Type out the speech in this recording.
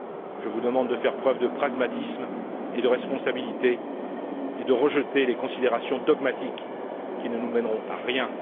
Je vous demande de faire preuve de pragmatisme et de responsabilité et de rejeter les considérations dogmatiques qui ne nous mèneront à rien.